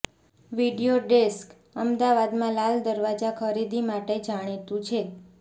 video desk અમદાવાદમાં લાલ દરવાજા ખરીદી માટે જાણીતું છે